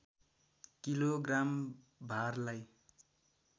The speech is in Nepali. kilo gram भारलाई